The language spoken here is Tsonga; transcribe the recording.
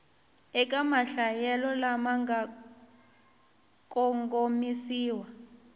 eka mahlayelo lama nga kongomisiwa